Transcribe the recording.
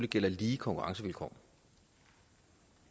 gælder lige konkurrencevilkår